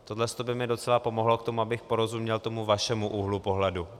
Tohle by mi docela pomohlo k tomu, abych porozuměl tomu vašemu úhlu pohledu.